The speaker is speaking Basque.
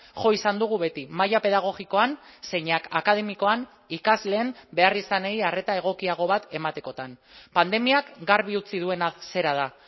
jo izan dugu beti maila pedagogikoan zeinak akademikoan ikasleen beharrizanei arreta egokiago bat ematekotan pandemiak garbi utzi duena zera da